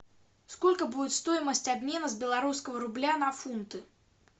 сколько будет стоимость обмена с белорусского рубля на фунты